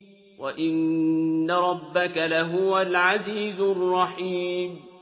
وَإِنَّ رَبَّكَ لَهُوَ الْعَزِيزُ الرَّحِيمُ